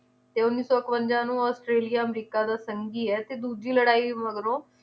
ਤੇ ਉੱਨੀ ਸੌ ਇਕਵੰਜਾ ਨੂੰ ਆਸਟ੍ਰੇਲੀਆ ਅਮਰੀਕਾ ਦਾ ਸੰਗੀ ਏ ਤੇ ਦੂਜੀ ਲੜਾਈ ਮਗਰੋਂ